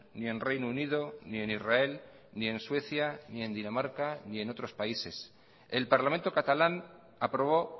ni en reino unido ni en israel ni en suecia ni en dinamarca ni en otros países el parlamento catalán aprobó